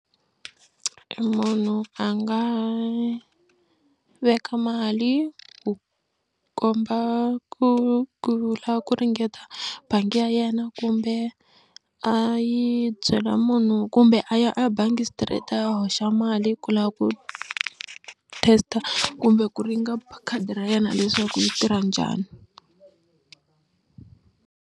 Munhu a nga veka mali ku komba ku ku la ku ringeta bangi ya yena kumbe a yi byela munhu kumbe a ya a ya bangi straight a ya hoxa mali ku la ku test-a kumbe ku ringa khadi ra yena leswaku yi tirha njhani.